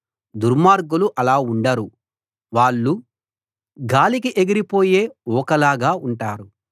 దుర్మార్గులు అలా ఉండరు వాళ్ళు గాలికి ఎగిరిపోయే ఊకలాగా ఉంటారు